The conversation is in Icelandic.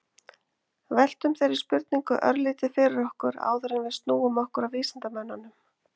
Veltum þeirri spurningu örlítið fyrir okkur áður en við snúum okkur að vísindamönnunum.